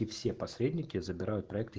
и все посредники забирают проекты с